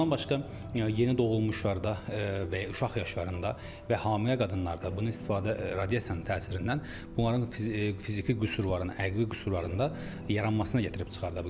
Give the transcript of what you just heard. Bundan başqa yeni doğulmuşlarda və ya uşaq yaşlarında və hamilə qadınlarda bunun istifadə radiasiyanın təsirindən bunların fiziki qüsurların, əqvi qüsurlarında yaranmasına gətirib çıxarır.